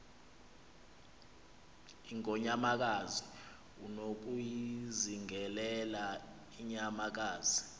ingonyamakazi unokuyizingelela inyamakazi